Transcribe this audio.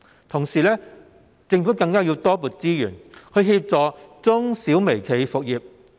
同時，政府更要多撥資源協助中小微企復業。